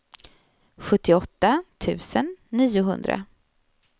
sjuttioåtta tusen niohundra